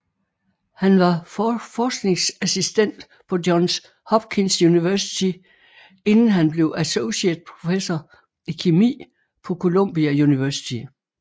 Han var forskningsassistent på Johns Hopkins University inden han blev associate professor i kemi på Columbia University